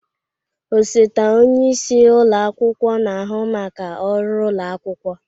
Osote onye isi ụlọ akwụkwọ na-ahụ maka ọrụ ụlọ akwụkwọ.